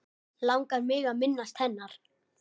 Langar mig að minnast hennar.